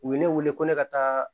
U ye ne weele ko ne ka taa